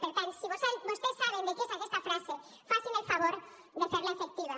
per tant si vostès saben de qui és aquesta frase facin el favor de fer la efectiva